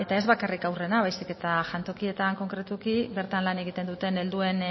ez bakarrik haurrena baizik eta jantokietan konkretuki bertan lan egiten duten helduen